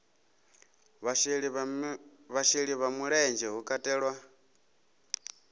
vhasheli vha mulenzhe hu katelwa